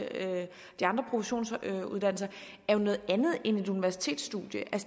de andre professionsuddannelser er noget andet end et universitetsstudium